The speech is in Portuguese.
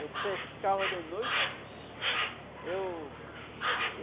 Eu pescava de noite. Eu